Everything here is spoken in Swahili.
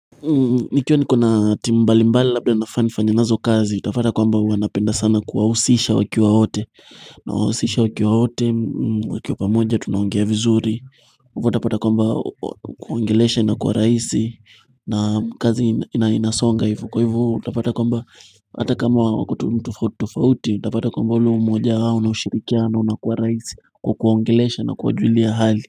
Nikiwa niko na timu mbali mbali labda nafaa nifanye nazo kazi utapata kwamba huwa napenda sana kuwahusisha wakiwa wote Nawahusisha wakiwa wote wakiwa pamoja tunaongea vizuri hivo utapata kwamba kuongelesha inakuwa rahisi na kazi inasonga hivo Kwa hivo utapata kwamba hata kama wako tu mtu tofauti utapata kwamba ule umoja wao na ushirikiano unakuwa rahisi kwa kuwaongelesha na kuwajulia hali.